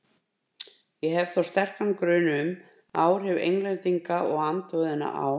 Ég hef þó sterkan grun um, að áhrif Englendinga og andúðina á